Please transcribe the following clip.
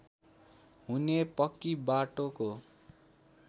हुने पक्की बाटोको